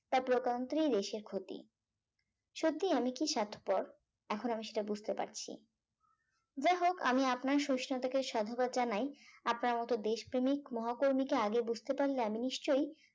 তা প্রকান্তরেই দেশের ক্ষতি সত্যি আমি কি স্বার্থপর এখন আমি সেটা বুঝতে পারছি যাই হোক আমি আপনার সহিষ্ণুতাকে সাধুবাদ জানাই আপনার মত দেশপ্রেমিক মহাকর্মীকে আগে বুঝতে পারলে আমি নিশ্চই